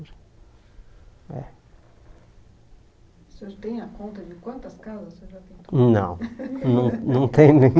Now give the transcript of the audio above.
É O senhor tem a conta de quantas casas você já pintou? Não não não tenho nem